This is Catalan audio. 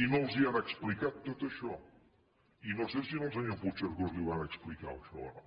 i no els ho han explicat tot això i no sé si al senyor puigcercós li van explicar tot això o no